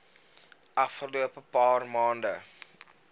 afgelope paar maande